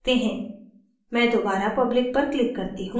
मैं दोबारा public पर click करती हूँ